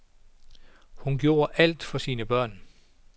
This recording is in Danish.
Hun gjorde alt for sine børn.